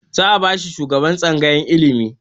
Za a bashi shugaban tsangayar ilimi